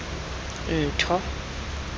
ntho